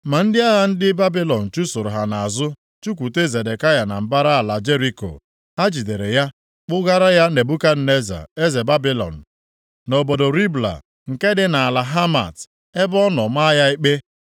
Ma ndị agha ndị Babilọn chụsoro ha nʼazụ, chụkwute Zedekaya na mbara ala Jeriko. Ha jidere ya, kpụgara ya Nebukadneza eze Babilọn, nʼobodo Ribla, nke dị nʼala Hamat, ebe ọ nọ maa ya ikpe.